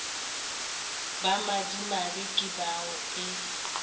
ba madimabe ke bao e